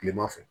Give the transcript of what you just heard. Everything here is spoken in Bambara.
Kilema fɛ